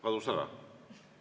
Kadus ära?